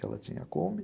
Que ela tinha a Kombi.